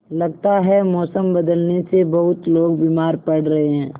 लगता है मौसम बदलने से बहुत लोग बीमार पड़ रहे हैं